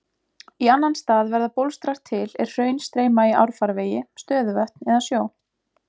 Í annan stað verða bólstrar til er hraun streyma í árfarvegi, stöðuvötn eða sjó.